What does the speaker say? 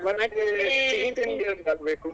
ಮತ್ತೆ ಸಿಹಿ ತಿಂಡಿಯೊಂದು ಆಗ್ಬೇಕು.